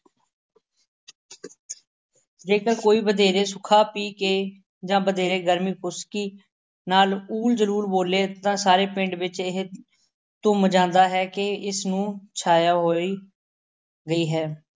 ਜੇਕਰ ਕੋਈ ਵਧੇਰੇ ਸੁੱਖਾ ਪੀ ਕੇ ਜਾਂ ਵਧੇਰੇ ਗਰਮੀ ਖੁਸ਼ਕੀ ਨਾਲ ਊਲ ਜਲੂਲ ਬੋਲੇ ਤਾਂ ਸਾਰੇ ਪਿੰਡ ਵਿੱਚ ਇਹ ਧੁੰਮ ਜਾਂਦਾ ਹੈ ਕਿ ਇਸਨੂੰ ਛਾਇਆ ਹੋਈ ਗਈ ਹੈ।